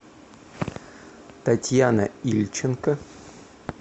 татьяна ильченко